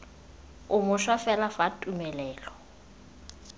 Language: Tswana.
o mošwa fela fa tumelelo